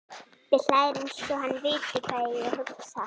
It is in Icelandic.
Pabbi hlær einsog hann viti hvað ég hugsa.